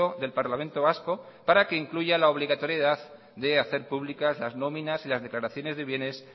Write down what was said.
del parlamento vasco para que incluya la obligatoriedad de hacer públicas las nóminas y las declaraciones de bienes